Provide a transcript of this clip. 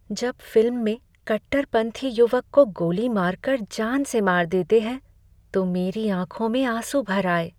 जब फिल्म में कट्टरपंथी युवक को गोली मार कर जान से मार देते हैं तो मेरी आँखों में आँसू भर आए।